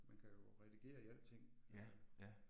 Man kan jo redigere i alting, ja